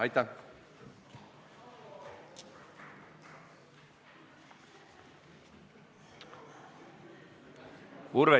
Aitäh!